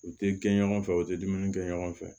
U tɛ gɛn ɲɔgɔn fɛ u tɛ dumuni kɛ ɲɔgɔn fɛ